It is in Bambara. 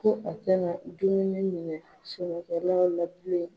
Ko a tɛna dumuni minɛ